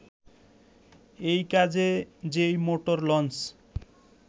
এই কাজে যে মোটর লঞ্চ